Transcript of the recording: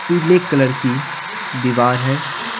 पीले कलर की दीवार है ।